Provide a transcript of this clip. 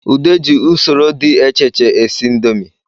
Ude ji usoro dị echeche esi ndomi